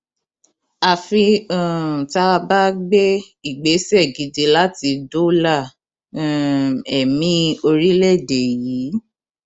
àfi um tá a bá gbé ìgbésẹ gidi láti dóòlà um ẹmí orílẹèdè yìí